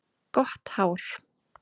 Gott hár.